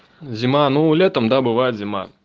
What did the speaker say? зима ну лето там бывает зима